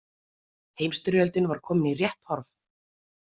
Heimsstyrjöldin var komin í rétt horf.